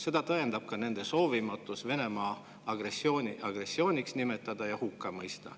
Seda tõendab ka nende soovimatus Venemaa teguviisi agressiooniks nimetada ja hukka mõista.